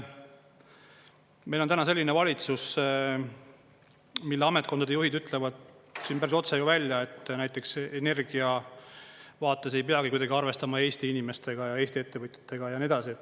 Meil on täna selline valitsus, mille ametkondade juhid ütlevad siin päris otse välja, et näiteks energia vaates ei peagi kuidagi arvestama Eesti inimestega ja Eesti ettevõtjatega ja nii edasi.